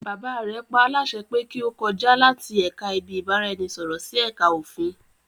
Bàbá rẹ paálásẹ pé kí ó kọjá láti ẹ̀ka ibi-ìbáraẹnisọ̀rọ̀ sí ẹ̀ka òfin